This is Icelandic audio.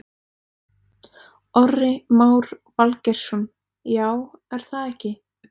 Orri Már Valgeirsson: Já, er það ekki?